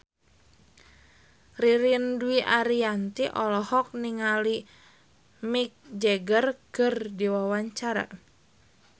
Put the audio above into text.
Ririn Dwi Ariyanti olohok ningali Mick Jagger keur diwawancara